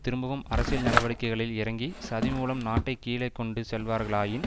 திரும்பவும் அரசியல் நடவடிக்கைகளில் இறங்கி சதி மூலம் நாட்டை கீழே கொண்டு செல்வார்களாயின்